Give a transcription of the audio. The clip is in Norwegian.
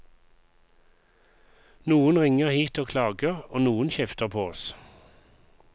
Noen ringer hit og klager, og noen kjefter på oss.